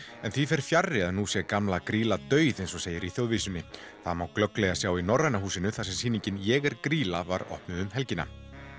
en því fer fjarri að nú sé gamla grýla dauð eins og segir í það má glögglega sjá í Norræna húsinu þar sem sýningin ég er grýla var opnuð um helgina